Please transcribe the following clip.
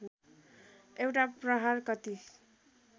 एउटा प्रहार कति